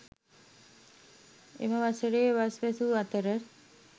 එම වසරේ වස් වැසූ අතර